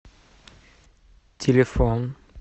телефон